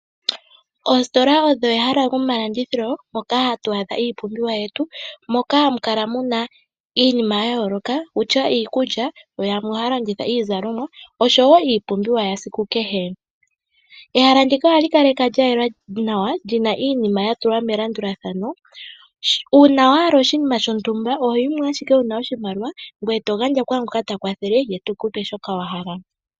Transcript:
Oositola odho ehala lyomalandithilo, moka hatu adha iipumbiwa yetu, moka hamu kala muna iinima ya yooloka kutya iikulya, yo yamwe ohaya landitha iizalomwa oshowo iipumbiwa yesiku kehe. Ehala ndika ohali kalekwa lya yela nawa lyina iinima ya tulwa melandulathano, uuna wa hala oshinima shontumba, ohoyi mo ashike wu na oshimaliwa, ngoye to gandja kwaangoka ta kwathele, ye teku pe shoka wa hala.